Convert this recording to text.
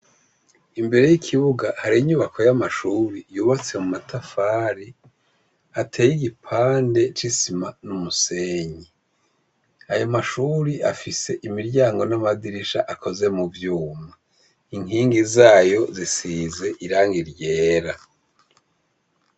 Imbere y'ikibuga hari inyubako y'amashure yubatse mu matafari ateye igipande c'isima n'umusenyi. Ayo mashure afise imiryango n'amadirisha akozwe mu vyuma inkingi zayo zisize irangi ryera.